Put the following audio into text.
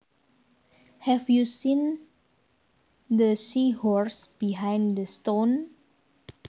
Have you seen the seahorse behind the stone